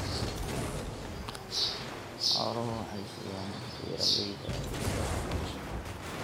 Xooluhu waxay siiyaan beeralayda fursado waxbarasho.